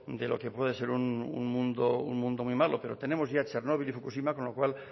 de lo que puede ser un mundo muy malo pero tenemos ya chernóbil y fukushima con lo cual